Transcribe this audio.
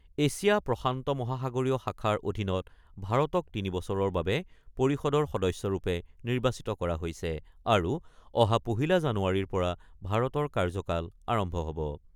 Asia প্ৰশান্ত মহাসাগৰীয় শাখাৰ অধীনত ভাৰতক তিনি বছৰৰ বাবে পৰিষদৰ সদস্যৰূপে নিৰ্বাচিত কৰা হৈছে আৰু অহা পহিলা জানুৱাৰীৰ পৰা ভাৰতৰ কাৰ্যকাল আৰম্ভ হ'ব।